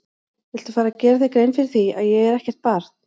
Viltu fara að gera þér grein fyrir því að ég er ekkert barn!